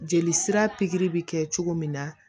Jeli sira bi kɛ cogo min na